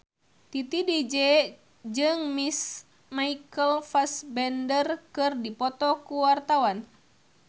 Titi DJ jeung Michael Fassbender keur dipoto ku wartawan